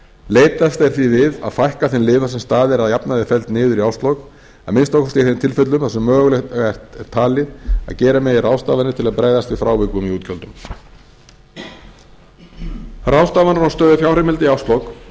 leitast er því við að fækka þeim liðum þar sem staða er að jafnaði felld niður í árslok að minnsta kosti í þeim tilfellum þar sem mögulegt er talið að gera megi ráðstafanir til að bregðast við frávikum í útgjöldum ráðstafanir á stöðu fjárheimilda í árslok